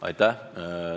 Aitäh!